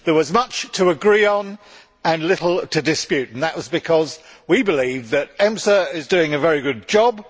There was much to agree on and little to dispute, and that was because we believe that EMSA is doing a very good job.